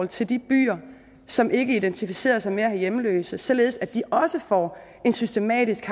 til de byer som ikke identificerer sig med at have hjemløse således at de også får en systematisk